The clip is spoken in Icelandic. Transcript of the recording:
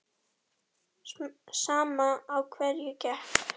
Sama á hverju gekk.